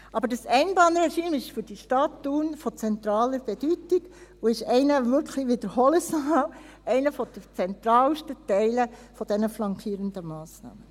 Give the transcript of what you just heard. Aber das Einbahnregime ist für die Stadt Thun von zentraler Bedeutung und ist wirklich – ich wiederhole es noch einmal – einer der zentralsten Teile der flankierenden Massnahmen.